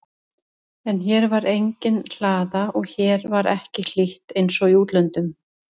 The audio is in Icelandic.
En hér var engin hlaða og hér var ekki hlýtt einsog í útlöndum.